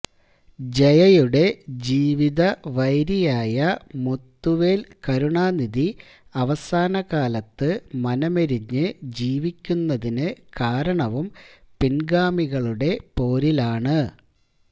ജയയുടെ ജീവിതവൈരിയായ മുത്തുവേല് കരുണാനിധി അവസാനകാലത്ത് മനമെരിഞ്ഞ് ജീവിക്കുന്നതിനു കാരണവും പിന്ഗാമികളുടെ പോരിലാണ്